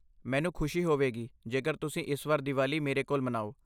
ਮੈਨੂੰ ਖੁਸ਼ੀ ਹੋਵੇਗੀ ਜੇਕਰ ਤੁਸੀਂ ਇਸ ਵਾਰ ਦੀਵਾਲੀ ਮੇਰੇ ਕੋਲ ਮਨਾਓ।